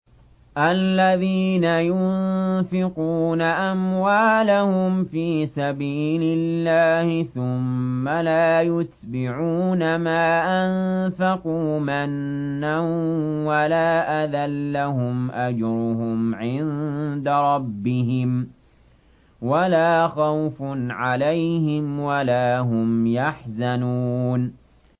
الَّذِينَ يُنفِقُونَ أَمْوَالَهُمْ فِي سَبِيلِ اللَّهِ ثُمَّ لَا يُتْبِعُونَ مَا أَنفَقُوا مَنًّا وَلَا أَذًى ۙ لَّهُمْ أَجْرُهُمْ عِندَ رَبِّهِمْ وَلَا خَوْفٌ عَلَيْهِمْ وَلَا هُمْ يَحْزَنُونَ